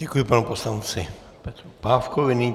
Děkuji panu poslanci Petru Pávkovi.